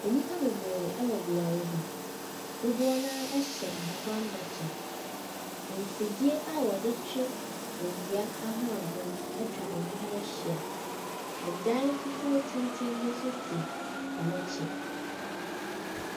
Nnipa bebree ɛwɔ beaeɛ bi, dodoɔ naa ɛhyɛn ahobanbɔ ɛkyɛ. Mfidie a ɔde twe owia ahoɔden atwa ɔmo ho ahyia. Ɛdan fufuo tenten bi nso si ɔmo akyi.